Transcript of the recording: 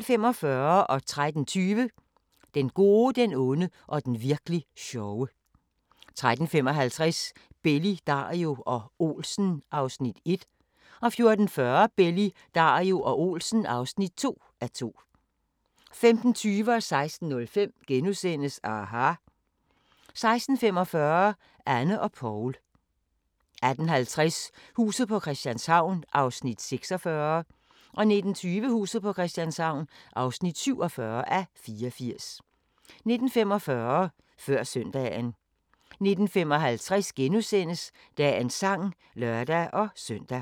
13:20: Den gode, den onde og den virk'li sjove 13:55: Belli, Dario og Olsen (1:2) 14:40: Belli, Dario og Olsen (2:2) 15:20: aHA! * 16:05: aHA! * 16:45: Anne og Poul 18:50: Huset på Christianshavn (46:84) 19:20: Huset på Christianshavn (47:84) 19:45: Før søndagen 19:55: Dagens sang *(lør-søn)